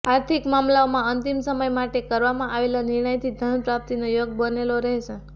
આર્થિક મામલાઓમાં અંતિમ સમય માટે કરવામાં આવેલા નિર્ણયથી ધન પ્રાપ્તિનો યોગ બનેલો રહેશે